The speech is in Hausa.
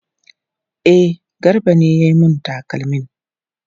E, Garba ne ya yi mun takalmin.